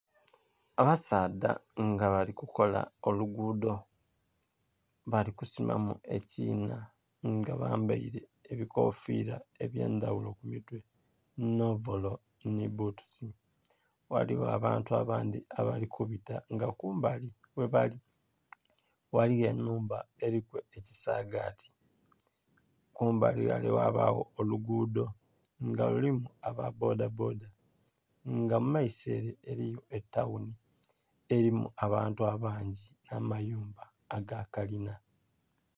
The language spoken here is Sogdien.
Abasaadha nga bali kukola olugudho balikusimamu ekinha nga bambeire ebikofira ebyandhaghulo kumutwe nh'ovolo nhibbutusi, ghaligho abantu abandhi abalikubita nga kumbali ghebali, ghaligho enhumba eliku ekisagati. Kumbali ghale ghabagho olugudho nga lulimu ababbodha bbodha nga mumaiso ere eliyo etaghunhi erimu abantu abangi nh'amayumba agakalina.